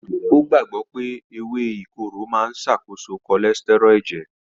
Ó gbàgbọ́ pé ewé ìkorò máa ń ṣàkóso cholesterol ẹ̀jẹ̀.